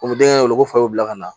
O bɛ denkɛ wele ko fa y'u bila ka na